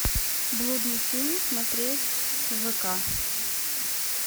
блудный сын смотреть в вк